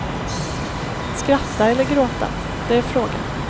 Skratta eller gråta, det är frågan.